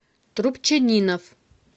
трубчанинов